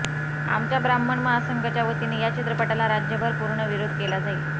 आमच्या ब्राह्मण महासंघ च्या वतीने या चित्रपटाला राज्यभर पूर्ण विरोध केला जाईल